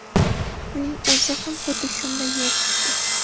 Uning o‘zi ham xuddi shunday yo‘l tutdi .